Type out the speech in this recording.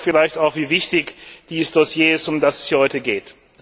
Das zeigt vielleicht auch, wie wichtig dieses Dossier ist, um das es hier heute geht.